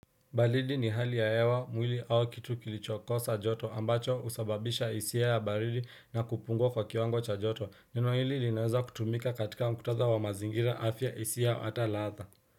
Baridi ni hali ya hewa mwili au kitu kilichokosa joto ambacho husababisha hisia ya baridi na kupungua kwa kiwango cha joto. Nino hili linaweza kutumika katika mkutadha wa mazingira afya hisia hata ladha.